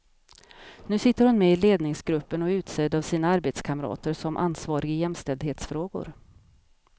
Nu sitter hon med i ledningsgruppen och är utsedd av sina arbetskamrater som ansvarig i jämställdhetsfrågor.